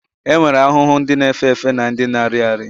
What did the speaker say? E nwere ahụhụ ndị na-efe efe na ndị na-arị arị